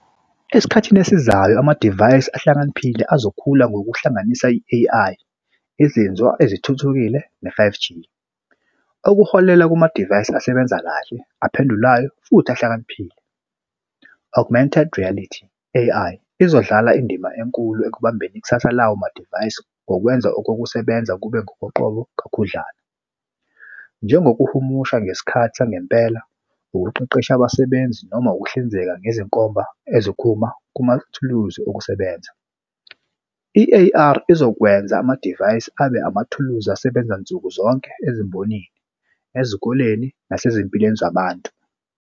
Esikhathini esizayo amadivayisi ahlakaniphile azokhula ngokuhlanganisa i-A_I izinzo ezithuthukile ne-five G okuholela kumadivayisi asebenza kahle aphendulayo futhi ahlakaniphile. Augmented Reality A_I izodlala indima enkulu ekubambeni ikusasa lawo madivayisi ngokwenza okokusebenza kube ngokoqobo kakhudlana. Njengokuhumusha ngesikhathi sangempela, ukuqeqesha abasebenzi noma ukuhlinzeka ngezinkomba eziphuma kumathuluzi okusebenza. I-A_R izokwenza amadivayisi abe amathuluzi asebenza nsukuzonke ezimbonini ezikoleni nasezimpilweni zabantu.